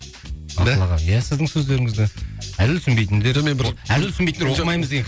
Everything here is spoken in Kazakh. да иә сіздің сөздеріңізді әзіл түсінбейтіндермен бір әзіл түсінбейтіндер